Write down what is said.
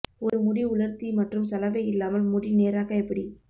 ஒரு முடி உலர்த்தி மற்றும் சலவை இல்லாமல் முடி நேராக்க எப்படி